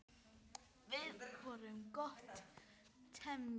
Við vorum gott teymi.